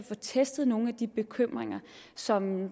få testet nogle af de bekymringer som